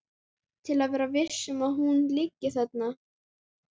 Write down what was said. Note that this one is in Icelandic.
Til að vera viss um að hún liggi þarna.